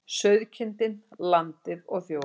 Sauðkindin, landið og þjóðin.